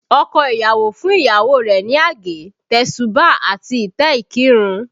Ọkọ ìyàwó fún ìyàwó rẹ̀ ní àgé, tesuba àti ìtẹ́ ìkírun